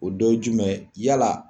O dɔ YE jumɛn ye jumɛn ye , yala